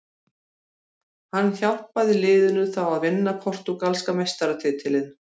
Hann hjálpaði liðinu þá að vinna portúgalska meistaratitilinn.